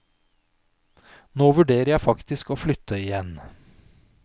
Nå vurderer jeg faktisk å flytte igjen.